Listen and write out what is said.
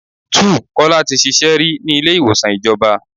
2. Kọ́lá tí ṣíṣe rí ní ilé ìwòsàn ìjọba.